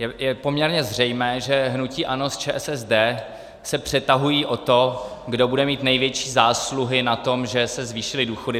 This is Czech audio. Je poměrně zřejmé, že hnutí ANO s ČSSD se přetahují o to, kdo bude mít největší zásluhy na tom, že se zvýšily důchody.